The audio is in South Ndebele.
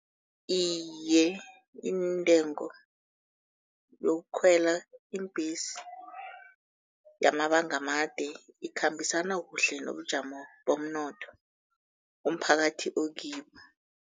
Iye, iintengo yokukhwela iimbhesi yamabanga amade ikhambisana kuhle nobujamo bomnotho umphakathi okibo.